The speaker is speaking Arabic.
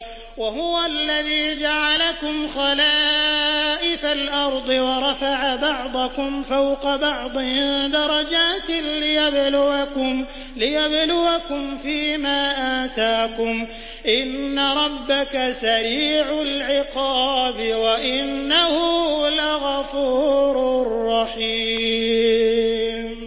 وَهُوَ الَّذِي جَعَلَكُمْ خَلَائِفَ الْأَرْضِ وَرَفَعَ بَعْضَكُمْ فَوْقَ بَعْضٍ دَرَجَاتٍ لِّيَبْلُوَكُمْ فِي مَا آتَاكُمْ ۗ إِنَّ رَبَّكَ سَرِيعُ الْعِقَابِ وَإِنَّهُ لَغَفُورٌ رَّحِيمٌ